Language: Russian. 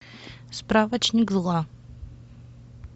справочник зла